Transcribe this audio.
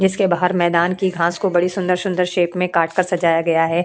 जिसके बाहर मैदान की घास को बड़ी सुंदर सुंदर शेप में काटकर सजाया गया है।